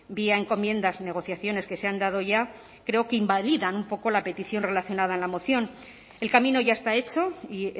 vía encomiendas negociaciones que se han dado ya creo que invalidan un poco la petición relacionada en la moción el camino ya está hecho y